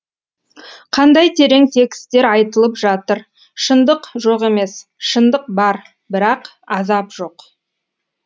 қандай терең текстер айтылып жатыр шындық жоқ емес шындық бар бірақ азап жоқ